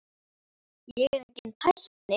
Ég er enginn tækni